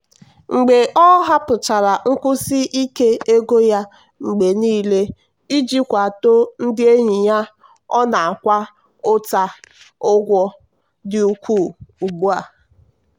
mgbe ọ hapụchara nkwụsi ike ego ya mgbe niile iji kwado ndị enyi ya ọ na-akwa ụta ụgwọ dị ukwuu ugbu a. um